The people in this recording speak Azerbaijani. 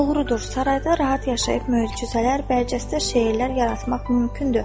Doğrudur, sarayda rahat yaşayıb möcüzələr və əcəsdə şeirlər yaratmaq mümkündür.